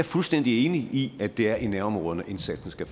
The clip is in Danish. fuldstændig enig i at det er i nærområderne at indsatsen skal